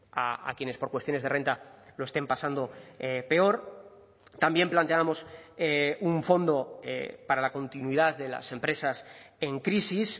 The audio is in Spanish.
a quienes por cuestiones de renta lo estén pasando peor también planteábamos un fondo para la continuidad de las empresas en crisis